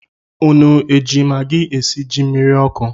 Unu eji magi esi ji mmiri ọkụ?